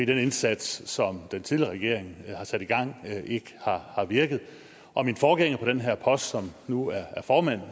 den indsats som den tidligere regering har sat i gang ikke har har virket og min forgænger på den her post som nu er formand